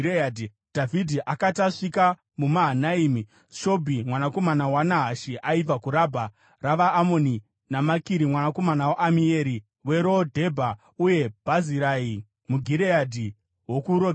Dhavhidhi akati asvika kuMahanaimi, Shobhi mwanakomana waNahashi aibva kuRabha ravaAmoni, naMakiri mwanakomana waAmieri weRo Dhebha, uye Bhazirai muGireadhi wokuRogerimi